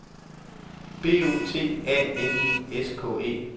B O T A N I S K E